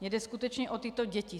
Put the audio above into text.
Mně jde skutečně o tyto děti.